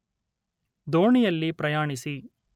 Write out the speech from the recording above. ದೋಣಿಯಲ್ಲಿ ಪ್ರಯಾಣಿಸಿ